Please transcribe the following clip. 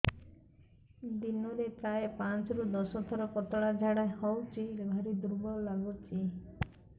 ଦିନରେ ପ୍ରାୟ ପାଞ୍ଚରୁ ଦଶ ଥର ପତଳା ଝାଡା ହଉଚି ଭାରି ଦୁର୍ବଳ ଲାଗୁଚି